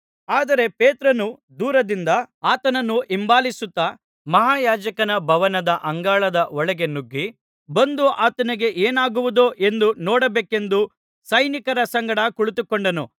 ಆದರೆ ಪೇತ್ರನು ದೂರದಿಂದ ಆತನನ್ನು ಹಿಂಬಾಲಿಸುತ್ತಾ ಮಹಾಯಾಜಕನ ಭವನದ ಅಂಗಳದ ಒಳಗೆ ನುಗ್ಗಿ ಬಂದು ಆತನಿಗೆ ಏನಾಗುವುದೋ ಎಂದು ನೋಡಬೇಕೆಂದು ಸೈನಿಕರ ಸಂಗಡ ಕುಳಿತುಕೊಂಡನು